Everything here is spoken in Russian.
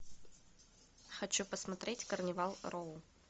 хочу посмотреть карнивал роу